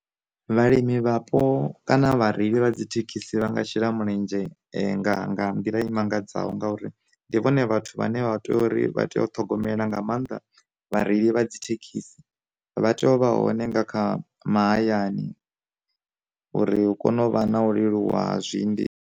Vha limi vhapo kana vhareili vha dzi thekhisi vha nga shela mulenzhe nga nga nḓila i mangadzaho ngauri ndi vhone vhathu vhane vha tea uri vha tea u ṱhogomela nga mannḓa vhareili vha dzi thekhisi, vha tea u vha hone nga kha mahayani uri hu kone u vha na u leluwa hezwi ende .